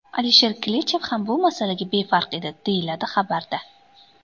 Alisher Klichev ham bu masalaga befarq edi”, deyiladi xabarda.